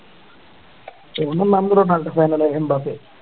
final Mbappe